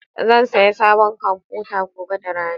Zan saya sabon kwamfuta gobe da rana.